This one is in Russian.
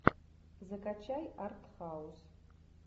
закачай артхаус